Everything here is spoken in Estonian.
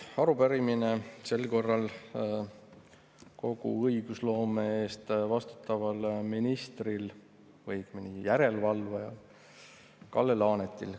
Arupärimine on sel korral kogu õigusloome eest vastutavale ministrile või õigemini järelevalvajale, Kalle Laanetile.